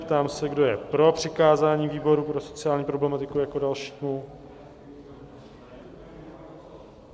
Ptám se, kdo je pro přikázání výboru pro sociální problematiku jako dalšímu.